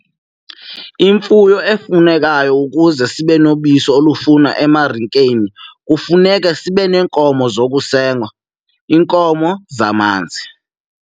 Imfuyo efunekayo ukuze sibe nobisi olufunwa emarikeni kufuneke sibe neenkomo zokusenga, iinkomo zamanzi.